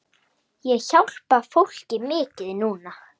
Ég hjálpa fólki mikið núna.